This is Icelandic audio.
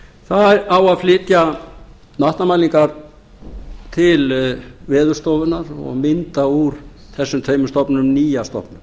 það á að flytja vatnamælingar til veðurstofunnar og mynda úr þessum tveimur stofnunum nýja stofnun